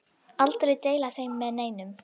Aldrei deila þeim með neinum.